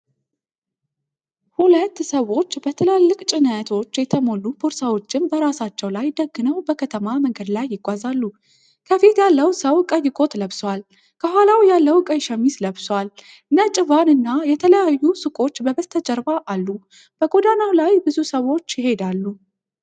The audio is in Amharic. ሁለት ሰዎች በትላልቅ ጭነቶች የተሞሉ ቦርሳዎችን በራሳቸው ላይ ደግነው በከተማ መንገድ ይጓዛሉ። ከፊት ያለው ሰው ቀይ ኮት ለብሷል፤ ከኋላው ያለው ቀይ ሸሚዝ ለብሷል። ነጭ ቫን እና የተለያዩ ሱቆች በበስተጀርባ አሉ፤ በጎዳናው ላይ ብዙ ሰዎች ይሄዳሉ።